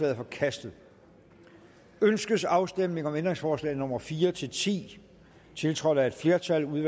er forkastet ønskes afstemning om ændringsforslag nummer fire ti ti tiltrådt af et flertal